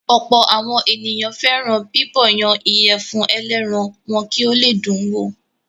Ọ̀pọ̀ àwọn ènìyàn fẹ́ràn bíbọ̀yan ìyẹ̀fun ẹlẹ́ran wọn kì ó le dùn wò.